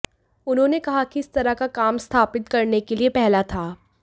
उन्होंने कहा कि इस तरह का काम स्थापित करने के लिए पहला था